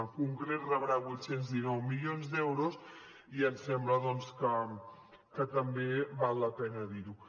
en concret rebrà vuit cents i dinou milions d’euros i ens sembla doncs que també val la pena dirho